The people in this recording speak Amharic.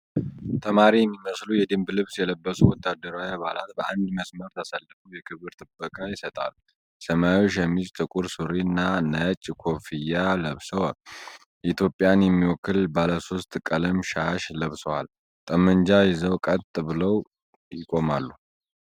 ተማሪ የሚመስሉ የደንብ ልብስ የለበሱ ወታደራዊ አባላት በአንድ መስመር ተሰልፈው የክብር ጥበቃ ይሰጣሉ። ሰማያዊ ሸሚዝ፣ ጥቁር ሱሪ እና ነጭ ኮፍያ ለብሰው፤ ኢትዮጵያን የሚወክል ባለሶስት ቀለም ሻሽ ለብሰዋል፤ ጠመንጃ ይዘው ቀጥ ብለው ይቆማሉ።